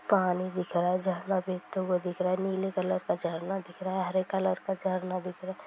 पानी दिख रहा है| झरना गिरते हुए दिख रहा है| नीले कलर का झरना दिख रहा हैं| हरे कलर का झरना दिख रहा है।